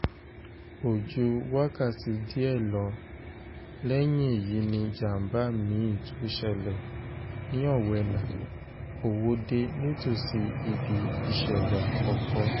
kò ju wákàtí díẹ̀ lọ lẹ́yìn èyí ni ìjàm̀bá mi-ín tún ṣẹlẹ̀ ní owena-òwòde nítòsí ibi ìṣẹ̀lẹ̀ àkọ́kọ́